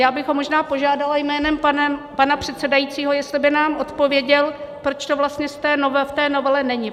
Já bych ho možná požádala jménem pana předsedajícího, jestli by nám odpověděl, proč to vlastně v té novele není.